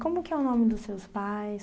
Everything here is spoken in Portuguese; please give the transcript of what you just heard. Como que é o nome dos seus pais?